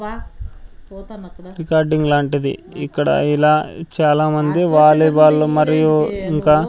recording లాంటిది ఇక్కడ ఇలా చాలా మంది వాలీబాల్ మరియు ఇంకా--